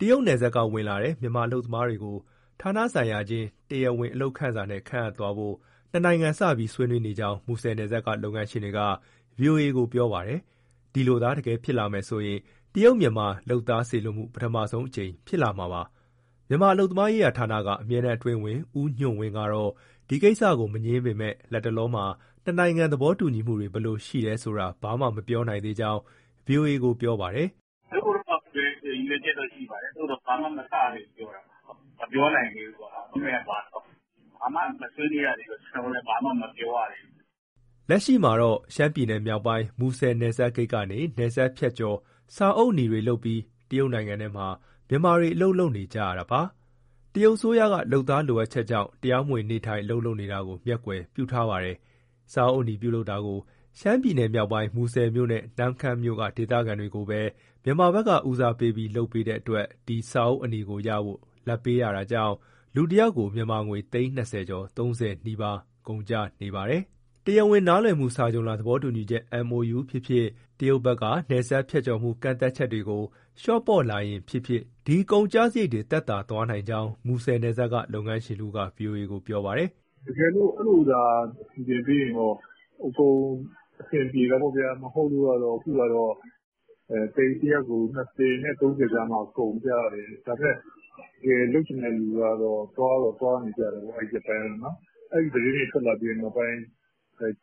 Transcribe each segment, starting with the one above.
တရုတ်နယ်စပ်က ဝင်လာတဲ့ မြန်မာ အလုပ်သမားတွေကို ဌာနဆိုင်ရာချင်း တရားဝင် အလုပ်ခန့်စာနဲ့ ခန့်အပ်သွားဖို့ နှစ်နိုင်ငံ စပြီး ဆွေးနွေးနေကြောင်း မူဆယ်နယ်စပ်က လုပ်ငန်းရှင်တွေက ဗွီအိုအေကို ပြောပါတယ်။ ဒီလိုသာ တကယ်ဖြစ်လာမယ်ဆိုရင် တရုတ်-မြန်မာ လုပ်သားစေလွှတ်မှု ပထမဆုံး ဖြစ်လာမှာပါ။ မြန်မာအလုပ်သမားရေးဌာနက အမြဲတမ်းအတွင်းဝန် ဦးညွန့်ဝင်း ကတော့ ဒီကိစ္စကို မငြင်းပေမဲ့ လက်တလောမှာ နှစ်နိုင်ငံ သဘောတူညီမှုတွေ ဘယ်လိုရှိတယ်ဆိုတာ ဘာမှ မပြောနိုင်သေးကြောင်း ဗွီအိုအေကို ပြောပါတယ်။ "လုပ်ဖို့တော့ ရည်ရွယ်ချက်တော့ ရှိပါတယ်၊ သို့သော် ဘာမှ မစရသေးဘူး ပြောတာပါ။ မပြောနိုင်သေးဘူးပေါ့နော် agreement က ဘာဆိုတာ။ ဘာမှ မဆွေးနွေးရသေးတော့ ကျနော်တို့လည်း ဘာမှ မပြောရသေးဘူး။" လက်ရှိမှာတော့ ရှမ်းပြည်နယ်မြောက်ပိုင်း၊ မူဆယ်နယ်စပ် ဂိတ်ကနေ နယ်စပ်ဖြတ်ကျော် စာအုပ်အနီတွေ လုပ်ပြီး တရုတ်နိုင်ငံထဲမှာ မြန်မာတွေ အလုပ်လုပ်နေကြတာပါ။ တရုတ်အစိုးရက လုပ်သားလိုအပ်ချက်ကြောင့် တရားမဝင် နေထိုင်၊ အလုပ်လုပ်နေတာကို မျက်ကွယ်ပြုထားပါတယ်။ စာအုပ်အနီ ပြုလုပ်တာကို ရှမ်းပြည်နယ်မြောက်ပိုင်း၊ မူဆယ်မြို့နဲ့ နမ့်ခမ်းမြို့က ဒေသခံတွေကိုပဲ မြန်မာဘက်က ဦးစားပေးပြီး လုပ်ပေးတဲ့အတွက် ဒီစာအုပ်အနီကိုရဖို့ လာဘ်ပေးရတာကြောင့် လူတယောက်ကို မြန်မာငွေ သိန်း၂၀ ကျော်၊ ၃၀ နီးပါး ကုန်ကျနေပါတယ်။ တရားဝင် နားလည်မှုစာချွန်လွှာ သဘောတူညီချက် MoU ဖြစ်ဖြစ်၊ တရုတ်ဘက်က နယ်စပ်ဖြတ်ကျော်မှု ကန့်သတ်ချက်တွေကို လျှော့ပေါ့လာရင်ဖြစ်ဖြစ် ဒီကုန်ကျစရိတ်တွေ သက်သာသွားနိုင်ကြောင်း မူဆယ်နယ်စပ်က လုပ်ငန်းရှင်တဦးက ဗွီအိုအေကို ပြောပါတယ်။ "တကယ်လို့ အဲလိုသာ စီစဉ်ပေးရင်တော့ အကုန်လုံး အဆင်ပြေတာပေါ့ဗျာ။ မဟုတ်လို့ကတော့ အခုကတော့ တယောက်ကို ၂၀ နဲ့ ၃၀ ကြားမှာ ကုန်ကျတယ်။ ဒါပေမဲ့ တကယ်လုပ်ချင်တဲ့သူက သွားတော့ သွားနေကြတာပဲ အဲ့ဒီရက်ပိုင်းက။ အဲ့ဒီသတင်းတွေ ထွက်လာပြီးနောက်ပိုင်း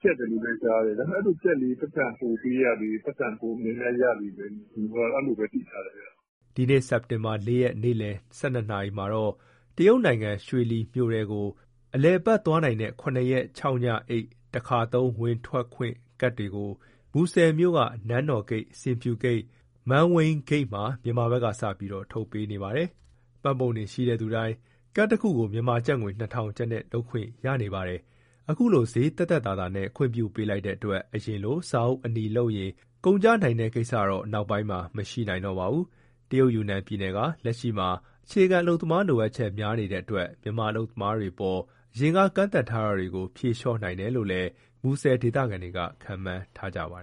ကျပ်တယ်လို့လည်း ကြားတယ်။ ဒါပေမဲ့ အဲ့လိုကျပ်လေ ပိုက်ဆံပိုပေးရလေ၊ ပိုက်ဆံပို များများရလေ။ အဲ့လိုပဲ သိထားတယ်။" ဒီနေ့ စက်တင်ဘာလ ၄ ရက် နေ့လည် ၁၂ နာရီမှာတော့ တရုတ်နိုင်ငံ၊ ရွှေလီမြို့ထဲကို အလည်အပတ် သွားနိုင်တဲ့ ၇ ရက်၊ ၆ ညအိပ် တခါသုံး ဝင်ထွက်ခွင့် ကတ်တွေကို မူဆယ်မြို့ နန်းတော်ဂိတ်၊ ဆင်ဖြူဂိတ်၊ မန်ဝိန်းဂိတ်မှာ မြန်မာဘက်ကစပြီး ထုတ်ပေးနေပါတယ်။မှတ်ပုံတင်ရှိတဲ့သူတိုင်း ကတ်တခုကို မြန်မာကျပ်ငွေ ၂,၀၀၀ ကျပ်နဲ့ လုပ်ခွင့်ရနေပါတယ်။ အခုလို စျေးသက်သက်သာသာနဲ့ ခွင့်ပြုပေးလိုက်တဲ့အတွက် အရင်လို စာအုပ်အနီလုပ်ရင် ကုန်ကျနိုင်တဲ့ ကိစ္စတော့ နောက်ပိုင်းမှာ မရှိနိုင်တော့ပါဘူး။ တရုတ်ယူနန်ပြည်နယ်က လက်ရှိမှာ အခြေခံအလုပ်သမား လိုအပ်ချက် များနေတဲ့အတွက် မြန်မာအလုပ်သမားတွေအပေါ် အရင်က ကန့်သတ်ထားတာတွေကို ဖြေလျှော့နိုင်တယ်လို့လည်း မူဆယ်ဒေသခံတွေက ခန့်မှန်းထားကြပါတ